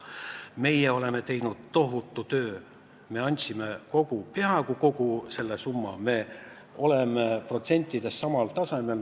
Meie oleme teinud tohutu töö, me oleme taastanud peaaegu kogu selle summa, me oleme protsentides samal tasemel.